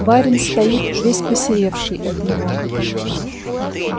барин стоит весь посеревший от него